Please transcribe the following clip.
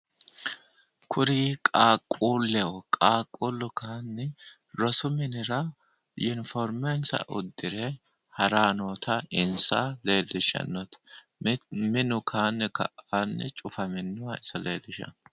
Kuri qaaquulleho qaaqullu kayiinni rosu minira yuniformensa uddire haranni noota insa leellishanno minu kayiinni Ka'aanni cufaminoha iso leellishanno.